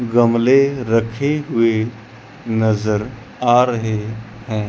गमले रखे हुवे नजर आ रहे है।